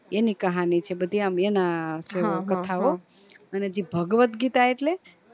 એની કહાની છે બધી આમ એના છે કથાઓ અને જે ભાગવત ગીતા એટલે